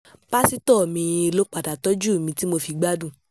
pásítọ̀ mi-ín ló padà tọ́jú mi tí mo fi gbádùn